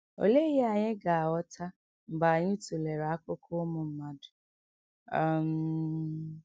Olee ihe anyị ga - aghọta mgbe anyị tụlere akụkọ ụmụ mmadụ? um